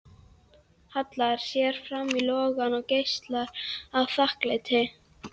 Hallar sér fram í logann og geislar af þakklæti.